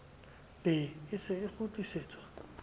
be e se e kgutlisetswa